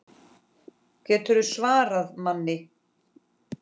GETURÐU SVARAÐ MANNI!